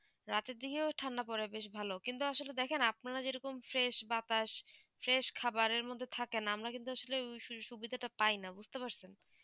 রাতে দিকে ও ঠান্ডা পরে বেশ ভালো কিন্তু আসলে দেখেন আপনার যেই রকম fresh বাতাস fresh খাবার এই মদদেই থাকে না আমরা কিন্তু আসলে ওই সুবিধা তা পাই না বুঝতে পারছেন